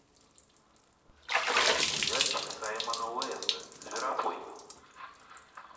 сериальчик саймона уэста зверопой